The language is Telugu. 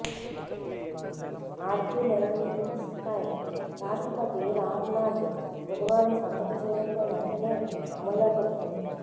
ఆర్డినెన్స్పై రాష్ట్రపతి రామ్నాథ్ బుధవారం సంతకం చేయడంతో వెంటనే అమల్లోకి వచ్చింది